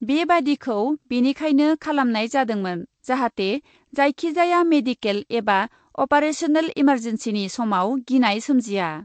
बेबायदिखौ बेनिखायनो खालामनाय जादोंमोन , जाहाथे जायखि जाया मेडिके ल एबा अपारेशनेल इमार्जेन्सिनि समाव गिनाय सोमजिया ।